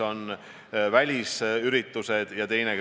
Kõigepealt aitäh selle väga olulise teema püstitamise eest!